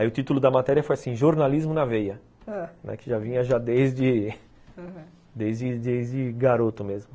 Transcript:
Aí o título da matéria foi assim, Jornalismo na Veia, ãh, que já vinha desde desde garoto mesmo, ãh